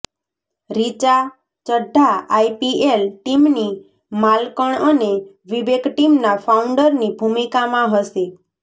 Richa Chadha IPL ટીમની માલકણ અને વિવેક ટીમના ફાઉન્ડરની ભૂમિકામાં હશે